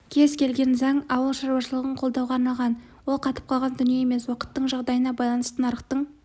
кез келген заң ауыл шаруашылығын қолдауға арналған ол қатып қалған дүние емес уақыттың жағдайына байланысты нарықтың